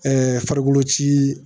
farikolo ci